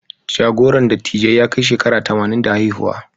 Jagoran dattijai ya kai shekara tamanin da haihuwa.